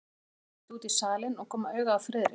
Þeim verður litið út í salinn og koma auga á Friðrik.